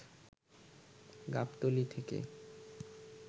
গাবতলী থেকে